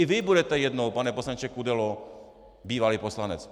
I vy budete jednou, pane poslanče Kudelo, bývalý poslanec.